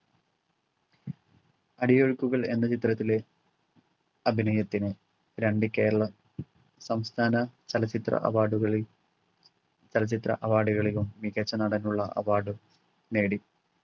അടിയൊഴുക്കുകൾ എന്ന ചിത്രത്തിലെ അഭിനയത്തിന് രണ്ടു കേരള സംസ്ഥാന ചലച്ചിത്ര award കളിൽ ചലച്ചിത്ര award കളിലും മികച്ച നടനുള്ള award ഉം നേടി